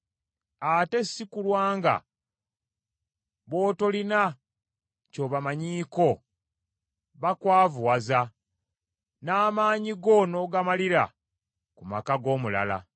ate si kulwa nga b’otolina ky’obamanyiiko bakwavuwaza, n’amaanyi go n’ogamalira ku maka g’omulala.